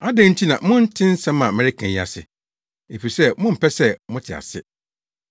Adɛn nti na monte nsɛm a mereka yi ase? Efisɛ mompɛ sɛ mote ase.